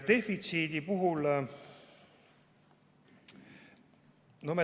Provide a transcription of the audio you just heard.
Defitsiidi kohta.